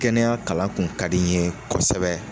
Kɛnɛya kalan kun ka di n ye kosɛbɛ.